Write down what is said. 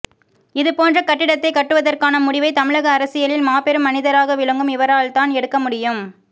இதுபோன்ற கட்டிடத்தை கட்டுவதற்கான முடிவை தமிழக அரசியலில் மாபெரும் மனிதராக விளங்கும் இவரால்தான் எடுக்க முடியும்